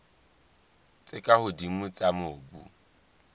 tse ka hodimo tsa mobu